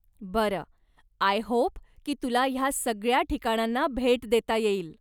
बरं, I hope की तुला ह्या सगळ्या ठिकाणांना भेट देता येईल.